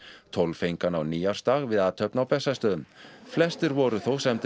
tólf fengu hana á nýársdag við athöfn á Bessastöðum flestir voru þó